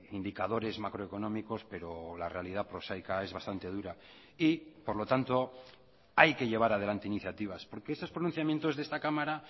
indicadores macroeconómicos pero la realidad prosaica es bastante dura y por lo tanto hay que llevar adelante iniciativas porque esos pronunciamientos de esta cámara